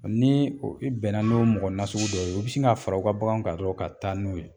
Ni o i bɛnna n'o mɔgɔ nasugu dɔ ye u bɛ sin ka fara u ka bagan kan dɔrɔn ka taa n'o ye